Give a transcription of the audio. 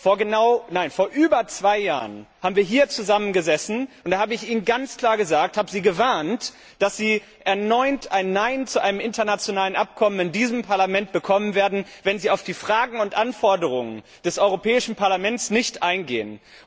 Vor über zwei Jahren haben wir hier zusammen gesessen, und da habe ich Ihnen ganz klar gesagt, habe Sie gewarnt, dass Sie erneut ein Nein zu einem internationalen Abkommen in diesem Parlament bekommen werden, wenn Sie auf die Fragen und Anforderungen des Europäischen Parlaments nicht eingehen.